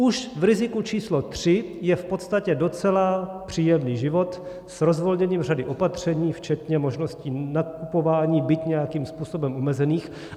Už v riziku číslo tři je v podstatě docela příjemný život s rozvolněním řady opatření včetně možnosti nakupování, byť nějakým způsobem omezeným.